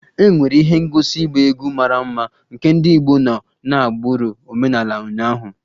E nwere ihe ngosi ịgba egwu mara mma nke ndị Igbo nọ n'agbụrụ omenala ụnyaahụ